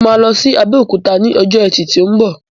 Mo ma lọ sí Abéòkúta ni ọjọ ẹti ti o mbọ.